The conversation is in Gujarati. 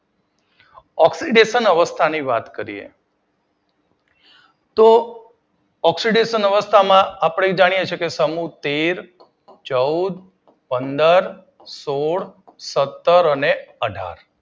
ઓક્સીડેશન અવસ્થા ની વાત કરીએ તો ઓક્સીડેશન અવસ્થામાં આપડે જાણીએ છીએ કે સમૂહ તેર, ચૌદ, પંદર, સોળ, સતર અને અઢાર